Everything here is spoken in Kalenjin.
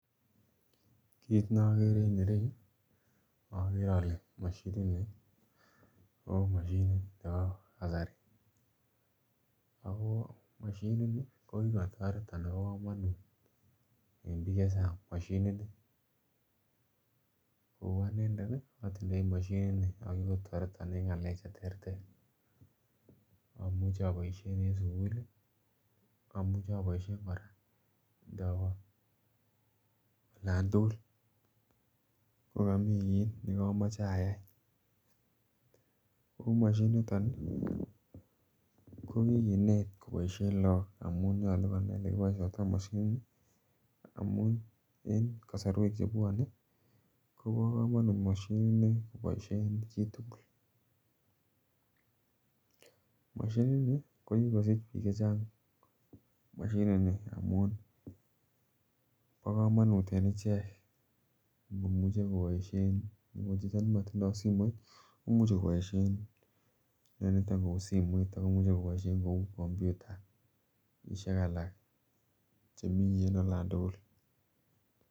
Kit nogere en yuu ogere ole moshini nii ko moshinit nebo kasari ago moshini ko kikotoret anan bo komonut en biik chechang moshini nii kouu anendet ii otindoi moshini nii oo kikotoreton en ngalek che terter, omuche oboishen en sukul ii, omuche oboishen koraa ndowee olan tugul ngo komii kit ne komoche ayay oo moshini niton ii ko kikinet koboishen look amun nyoluu konai ole kiboishoito moshini nii amun en kosorwek chebwone ko bo komonut moshini nii koboishen chitugul, moshini nii amun bo komonut en ichek amun imuch koboishen chito ne motindo simoit komuche koboishen niton kouu simoit ako imuche koboishen kouu computashiek alak chemii en olan tugul